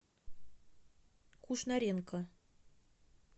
кушнаренко